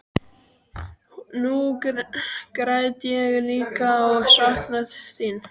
Nú græt ég líka og sakna þín.